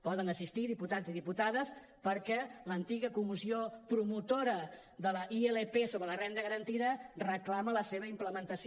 poden assistir hi diputats i diputades perquè l’antiga comissió promotora de la ilp sobre la renda garantida reclama la seva implementació